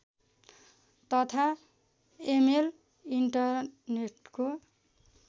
तथा इमेल इन्टरनेटको